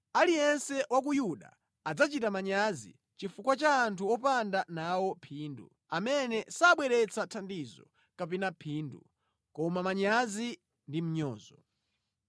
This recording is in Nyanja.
aliyense wa ku Yuda adzachita manyazi chifukwa cha anthu opanda nawo phindu, amene sabweretsa thandizo kapena phindu, koma manyazi ndi mnyozo.”